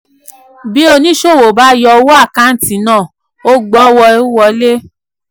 bí oníṣòwò bá yọ owó àkántì náà ò gbọ́wọ́wọlé.